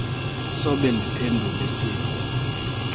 sobe ndiphendule cingo